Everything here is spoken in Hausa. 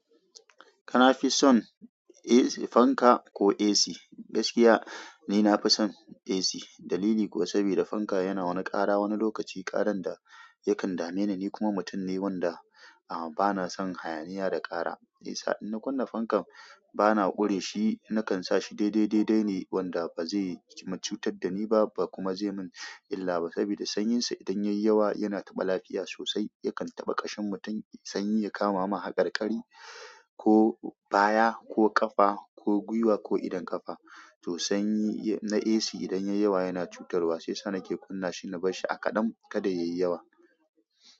Kafison fanka ko AC? Gaskiya ni nafi son AC. Dalili kuwa saboda fanka yana wani ƙara wani lokaci, ƙaran da yakan dame ni. Ni kuma mutum ne wanda a bana son hayaniya da ƙara. Shiyasa idan na kunna fankan bana ƙure shi, nakan sa shi daidai daidai ne wanda ba zai cutar da ni ba, ba kuma zai mun illa ba. Saboda sanyinsa idan yayi yawa yana taɓa lafiya sosai. Yakan taɓa ƙashin mutum sanyi ya kama ma haƙarƙari, ko baya, ko ƙafa, ko gwiwa ko idon ƙafa. To sanyi na AC idan yayi yawa yana cutarwa. Shiyasa nake kunna shi na bar shi a kaɗan kada yayi yawa.